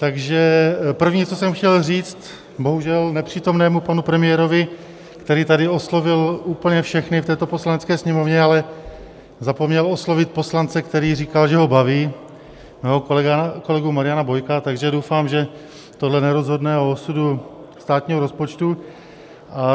Takže první, co jsem chtěl říct bohužel nepřítomnému panu premiérovi, který tady oslovil úplně všechny v této Poslanecké sněmovně, ale zapomněl oslovit poslance, který říkal, že ho baví, mého kolegu Mariana Bojka, takže doufám, že tohle nerozhodne o osudu státního rozpočtu.